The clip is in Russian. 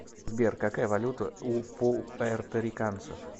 сбер какая валюта у пуэрториканцев